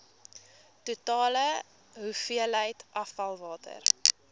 totale hoeveelheid afvalwater